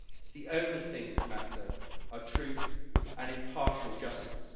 The only things that matter are truth and impartial justice.